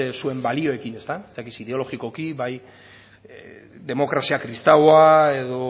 zuen baliokin ez dakit ideologikoki bai demokrazia kristau edo